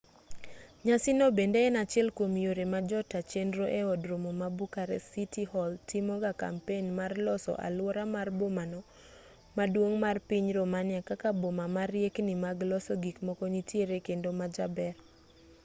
nyasi no bende en achiel kwom yore ma jota chenro e od romo ma bucharest city hall timogo kampen mar loso aluora mar bomano maduong' mar piny romania kaka boma ma riekni mag loso gikmoko nitiere kendo majaber